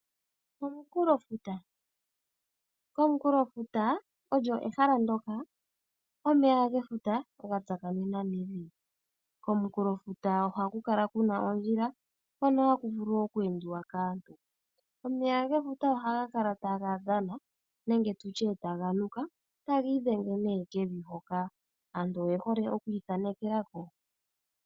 Omukulofuta, komukulofuta olyo ehala ndyoka omeya gefuta ga tsakanena nevi. Komukulofuta ohaku kala kuna ondjila hono haku vulu oku endiwa kaantu. Omeya gefuta ohaga kala taga dhana nenge taga nuka , go taga idhenge kevi hoka. Aantu oye hole okwiithanekelako.